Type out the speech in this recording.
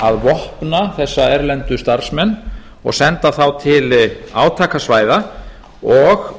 að vopna þessa erlendu starfsmenn og senda þá til átakasvæða og